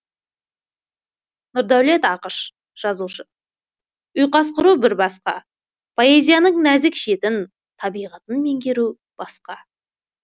нұрдәулет ақыш жазушы ұйқас құру бір басқа поэзияның нәзік шетін табиғатын меңгеру басқа